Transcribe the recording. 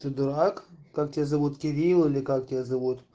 ты дурак как тебя зовут кирилл или как тебя зовут